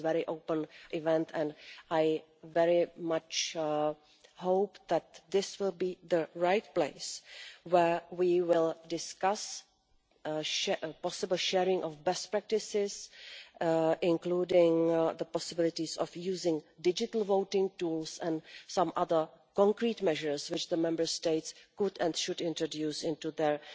This is a very open event and I very much hope that this will be the right place where we will discuss the possible sharing of best practices, including the possibilities of using digital voting tools and some other concrete measures which the Member States could and should introduce into their